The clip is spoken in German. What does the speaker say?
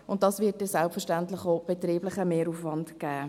Dies wird selbstverständlich dann auch betrieblichen Mehraufwand geben.